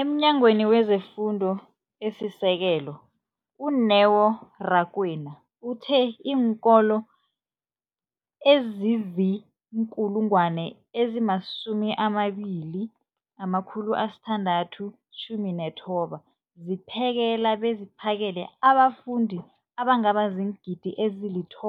EmNyangweni wezeFundo esiSekelo, u-Neo Rakwena, uthe iinkolo ezizi-20 619 zipheka beziphakele abafundi abangaba ziingidi ezili-9